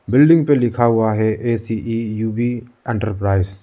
Building पे लिखा हुआ है A C E U B.